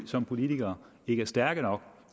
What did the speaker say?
som politikere ikke er stærke nok